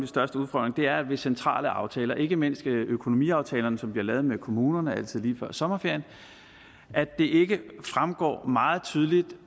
største udfordringer er at det ved centrale aftaler ikke mindst økonomiaftalerne som bliver lavet med kommunerne altid lige før sommerferien ikke fremgår meget tydeligt